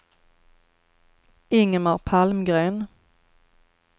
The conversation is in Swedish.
Ingemar Palmgren